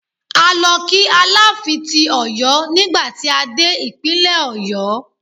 A lọ kí Aláàfin ti Ọ̀yọ́ nígbà tí a dé Ìpínlẹ̀ Ọ̀yọ́.